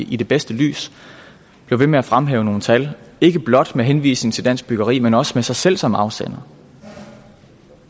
i det bedste lys bliver ved med at fremhæve nogle tal ikke blot med henvisning til dansk byggeri men også med sig selv som afsender